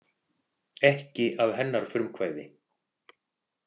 Ekki að hennar frumkvæði.